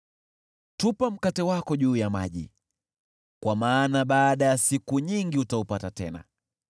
Tupa mkate wako juu ya maji, kwa maana baada ya siku nyingi utaupata tena.